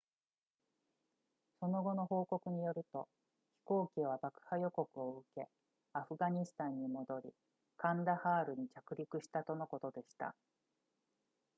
その後の報告によると飛行機は爆破予告を受けアフガニスタンに戻りカンダハールに着陸したとのことでした